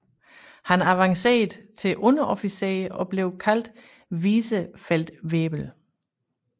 Han avancerede til underofficer og blev senere Vizefeldwebel